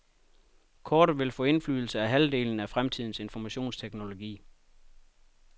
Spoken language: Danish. Kortet vil få indflydelse på halvdelen af fremtidens informationsteknologi.